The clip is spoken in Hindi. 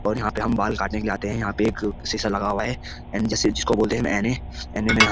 और यहाँ पे हम बाल काटने के लिए आते हैं यहाँ पे एक शीशा लगा हुआ है जिसको बोलते हैं में हम --